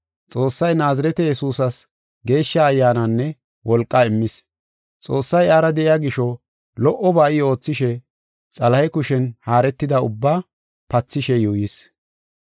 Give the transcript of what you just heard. Xoossay Naazirete Yesuusas Geeshsha Ayyaananne wolqaa immis. Xoossay iyara de7iya gisho lo77oba I oothishe Xalahe kushen haaretida ubbaa pathishe yuuyis.